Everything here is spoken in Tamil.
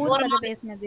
போறது பேசினது அஹ்